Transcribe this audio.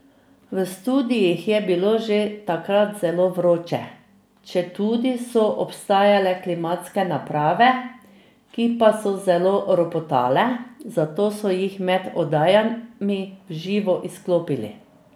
V studiih je bilo že takrat zelo vroče, četudi so obstajale klimatske naprave, ki pa so zelo ropotale, zato so jih med oddajami v živo izklopili.